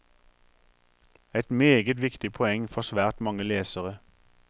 Et meget viktig poeng for svært mange lesere.